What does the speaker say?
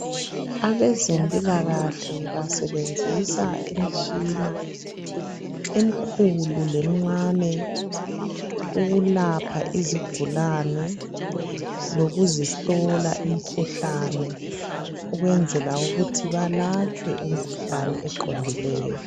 abezempilakahle basebenzisa imitshina emikhulu lemincane ukulapha izigulane lokuzihlola imikhuhlane ukwenzela ukuthi balatshwe imikhuhlane eqondileyo.